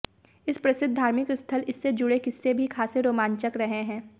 इस प्रसिद्ध धार्मिक स्थल इससे जुड़े किस्से भी खासे रोमांचक रहे हैं